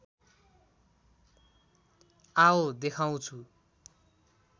आओ देखाउँछु